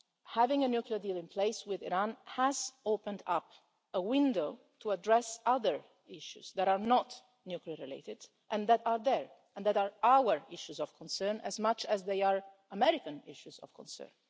Having a nuclear deal in place with Iran has opened up a window to address other issues that are not nuclear-related and that are there and that are our issues of concern as much as they are American issues of concern.